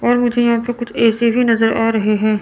और मुझे यहाँ पे कुछ ए_सी भी नजर आ रहे है।